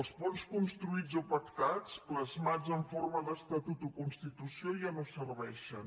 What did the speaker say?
els ponts construïts o pactats plasmats en forma d’estatut o constitució ja no serveixen